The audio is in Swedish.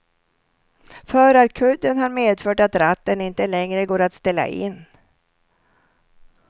Förarkudden har medfört att ratten inte längre går att ställa in.